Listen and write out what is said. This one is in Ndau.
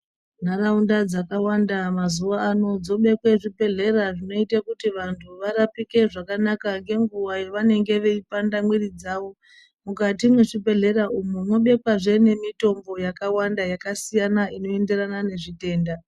Nharaunda dzakawanda mazuwa ano dzobekwe zvibhehlera zvinoite kuti vanhu varapike zvakanaka ngenguwa yavanenge veipanda mwiri dzawo mukati mwezvibhehlera umwu mwobekwazve nemitombo yakawanda yakasiyana inoenderana nezvitenda.